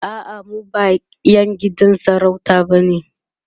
a'a mu ba ƴan gidan sarauta bane